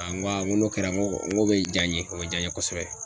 n k'o kɛra n ko n ko bɛ diya n ye o bɛ diya n ye kosɛbɛ.